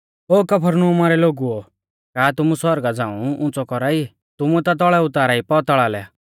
ओ कफरनहूमा रै लोगुओ का तुमु सौरगा झ़ांऊ उंच़ौ कौरा ई तुमु ता तौल़ै उतारा ई पैताल़ा लै